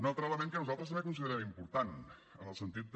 un altre element que nosaltres també considerem important en el sentit de